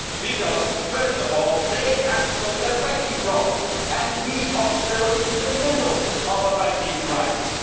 Because, first of all, they have solved their banking problem and we are still in the middle of a banking crisis.